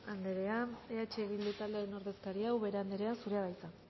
anderea eh bildu taldearen ordezkaria ubera anderea zurea da hitza